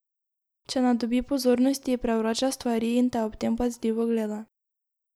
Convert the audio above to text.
Če ne dobi pozornosti, prevrača stvari in te ob tem pazljivo gleda.